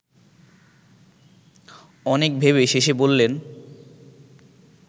অনেক ভেবে শেষে বললেন